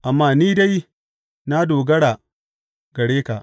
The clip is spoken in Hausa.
Amma ni dai, na dogara gare ka.